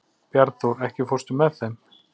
Bjarnþór, ekki fórstu með þeim?